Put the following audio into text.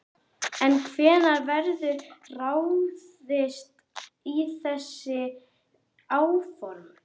En hvenær verður ráðist í þessi áform?